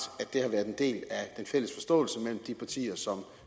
at fælles forståelse mellem de partier som